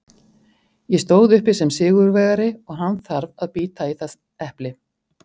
Ég stóð uppi sem sigurvegari og hann þarf að bíta í það epli.